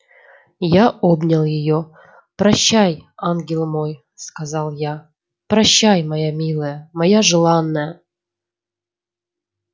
я обнял её прощай ангел мой сказал я прощай моя милая моя желанная